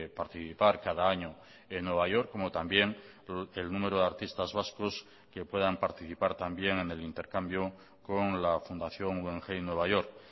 participar cada año en nueva york como también el número de artistas vascos que puedan participar también en el intercambio con la fundación guggenheim nueva york